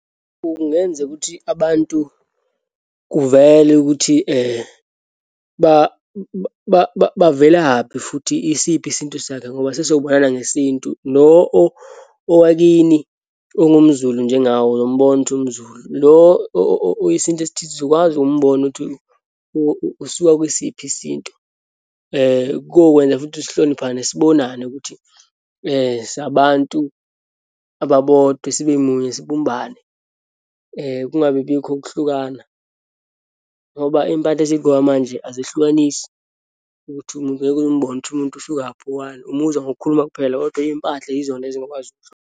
Kungenzeka ukuthi abantu kuvele ukuthi bavelaphi futhi isiphi isintu sakhe, ngoba sesobonana ngesintu. Lo owakini ongumZulu, njengawe uyombona ukuthi umZulu. Lo owesintu esithize uzokwazi umbono uthi usuka kwesiphi isintu, kokwenza futhi sihloniphane, sibonane ukuthi singabantu ababodwa, sibe munye, sibumbane, kungabi bikho ukuhlukana. Ngoba iyimpahla esiyigqoka manje azihlukanisi ukuthi ngeke umbone umuntu ukuthi usukaphi, owaphi, umuzwa ngokukhuluma kuphela, kodwa iyimpahla yizona ezingakwazi .